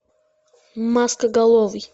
маскоголовый